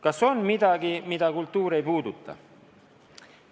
Kas on midagi, mida kultuur ei puuduta?